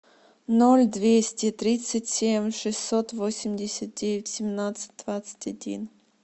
ноль двести тридцать семь шестьсот восемьдесят девять семнадцать двадцать один